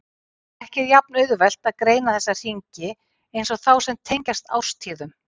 Ekki er jafn auðvelt að greina þessa hringi eins og þá sem tengjast árstíðum.